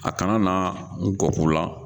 A kana na ngɔk'u la.